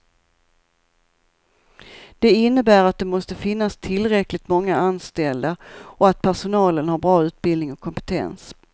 Det innebär att det måste finnas tillräckligt många anställda och att personalen har bra utbildning och kompetens.